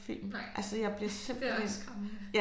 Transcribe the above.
Nej det også skræmmende